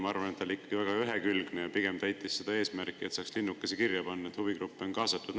Ma arvan, et see oli ikkagi väga ühekülgne ja pigem täitis seda eesmärki, et saaks panna kirja linnukese, et huvigruppe on kaasatud.